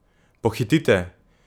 Pohitite!